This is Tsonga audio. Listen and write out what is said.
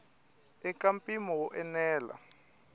i ka mpimo wo enela